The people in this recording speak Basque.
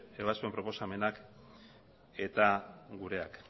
ebazpen proposamenak eta gureak